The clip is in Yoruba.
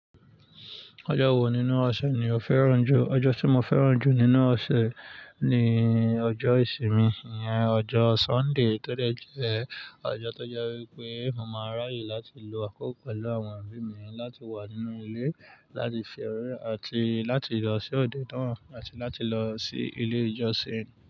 Ọjọ́ wo nínú ọ̀sẹ̀ ni o fẹ́ràn jù? Ọjọ́ tí mo fẹ́ràn jù nínú ọ̀sẹ̀ ni ọjọ́ ìsinmi, ìyẹn ọjọ́ Sunday tó de jẹ́ ọjọ́ tó jẹ́ wípé mo máa ráyè láti lo àkókò pẹ̀lú àwọn òbí mi láti wà nínú ilé láti fi òróró àti láti lọ sí òde tán àti láti lọ sí ilé ìjọsìn.